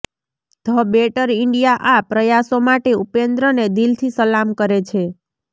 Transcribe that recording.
the better India આ પ્રયાસો માટે ઉપેન્દ્રને દિલથી સલામ કરે છે